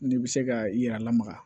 N'i bɛ se ka i yɛrɛ lamaga